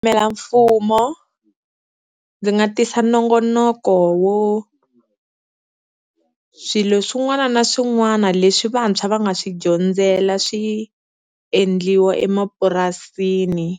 Yimela mfumo ndzi nga tisa nongonoko wo swilo swin'wana na swin'wana leswi vantshwa va nga swi dyondzela swi endliwa emapurasini,